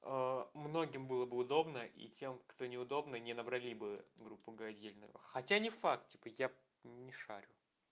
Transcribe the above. многим было бы удобно и тем кто неудобно не набрали бы в группу отдельную хотя не факт типа я не шарю